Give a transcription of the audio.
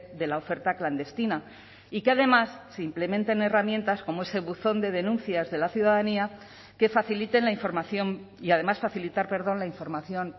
de la oferta clandestina y que además se implementen herramientas como ese buzón de denuncias de la ciudadanía que faciliten la información y además facilitar perdón la información